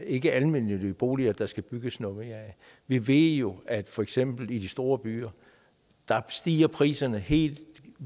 ikke er almennyttige boliger der skal bygges noget mere af vi ved jo at for eksempel i de store byer stiger priserne helt